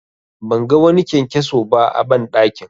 Ban ga wani kyankyaso ba a banɗakin.